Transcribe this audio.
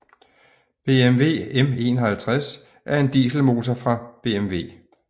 BMW M51 er en dieselmotor fra BMW